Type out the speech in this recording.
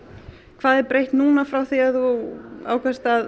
hvað er breytt núna frá því að þú ákvaðst að